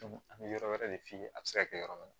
an bɛ yɔrɔ wɛrɛ de f'i ye a bɛ se ka kɛ yɔrɔ min na